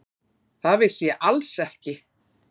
Það vissi ég alls ekki.